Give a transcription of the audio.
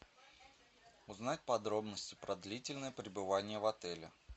узнать подробности про длительное пребывание в отеле